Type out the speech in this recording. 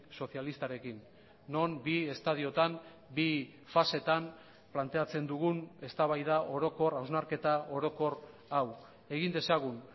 sozialistarekin non bi estadiotan bi faseetan planteatzen dugun eztabaida orokor hausnarketa orokor hau egin dezagun